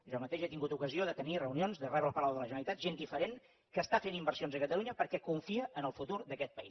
jo mateix he tingut ocasió de tenir reunions de rebre al palau de la generalitat gent diferent que està fent inversions a catalunya perquè confia en el futur d’aquest país